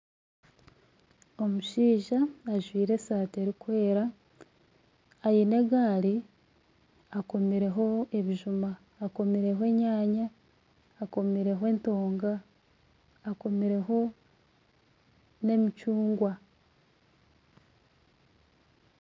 Omushaija ajwire eshati erikwera aine egaari akomireho ebijuma, akamireho enyaanya akomireho entonga, akomireho n'emicungwa